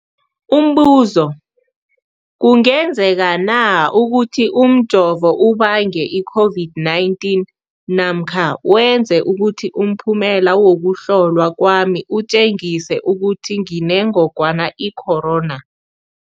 Umbuzo, kungenzekana ukuthi umjovo ubange i-COVID-19 namkha wenze ukuthi umphumela wokuhlolwa kwami utjengise ukuthi nginengogwana i-corona?